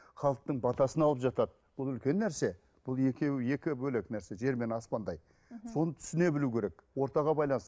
халықтың батасын алып жатады бұл үлкен нәрсе бұл екеуі екі бөлек нәрсе жер мен аспандай соны түсіне білу керек ортаға